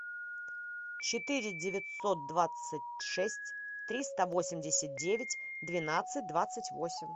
четыре девятьсот двадцать шесть триста восемьдесят девять двенадцать двадцать восемь